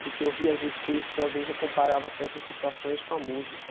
Porque eu ria às vezes com isso, que às vezes eu comparava certas situações com a música.